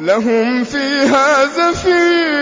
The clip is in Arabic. لَهُمْ فِيهَا زَفِيرٌ